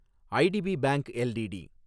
ITP bank LTD